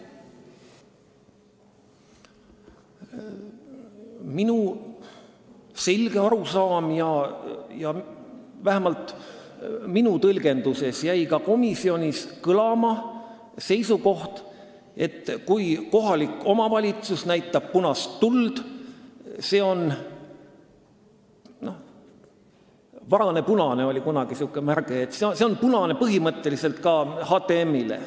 Minu selge arusaam on ja vähemalt minu tõlgenduse järgi jäi ka komisjonis kõlama seisukoht, et kui kohalik omavalitsus näitab punast tuld, siis see on – kunagi oli selline väljend nagu varane punane – punane tuli põhimõtteliselt ka HTM-ile.